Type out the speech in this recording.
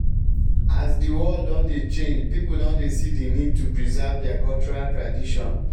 as di world don dey change people don dey see the need to preserve their cultural tradition